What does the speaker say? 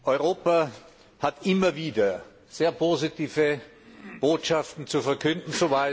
Europa hat immer wieder sehr positive Botschaften zu verkünden.